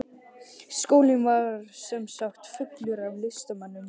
Skólinn var sem sagt fullur af listamönnum.